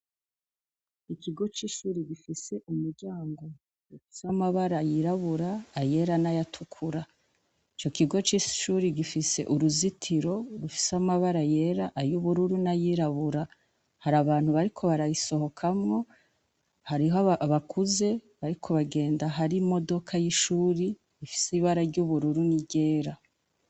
Ikigo c'ishure gifise umuryango ufise amabara yirabura, ayera n'ayatukura . Ico kigo cishure gifise uruzitiro rufise amabara yera , ayubururu nay'irabura, harabantu bariko barayisohokamwo, hariho abakuze bariko bagenda hari imodoka y'ishure ifise ibara ry'ubururu ni ryera.